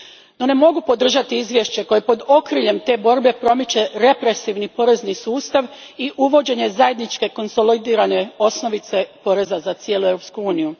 No ne mogu podržati izvješće koje pod okriljem te borbe promiče represivni porezni sustav i uvođenje zajedničke konsolidirane osnovice poreza za cijelu Europsku uniju.